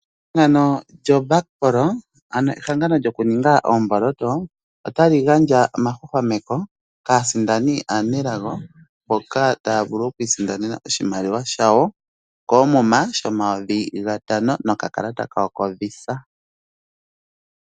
Ehangano lyo Bakpro, olyo ehangano lyokuninga oomboloto. Otali gandja oma hwahwameke kaasindani aanelago mboka taya vulu okwiisindanena oshimaliwa shawo koomuma shomayovi gatano noka kalata kawo ko VISA.